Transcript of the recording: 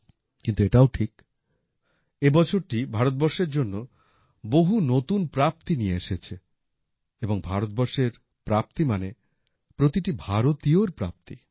কিন্তু এটাও ঠিক এ বছরটি ভারতবর্ষের জন্য বহু নতুন প্রাপ্তি নিয়ে এসেছে এবং ভারতবর্ষের প্রাপ্তি মানে প্রতিটি ভারতীয়ের প্রাপ্তি